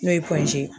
N'o ye ye